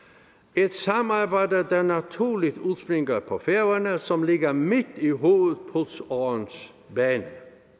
et samarbejde der naturligt udspringer på færøerne som ligger midt i hovedpulsårens bane